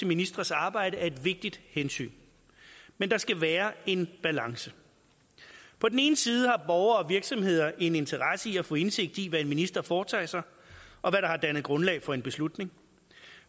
ministres arbejde er et vigtigt hensyn men der skal være en balance på den ene side har borgere og virksomheder en interesse i at få indsigt i hvad en minister foretager sig og hvad der har dannet grundlag for en beslutning